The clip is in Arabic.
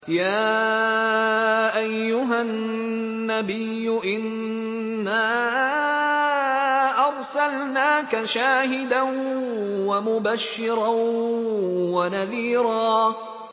يَا أَيُّهَا النَّبِيُّ إِنَّا أَرْسَلْنَاكَ شَاهِدًا وَمُبَشِّرًا وَنَذِيرًا